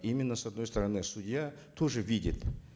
именно с одной стороны судья тоже видит